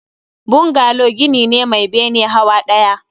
Bungalow gini ne Mai bene hawa ɗaya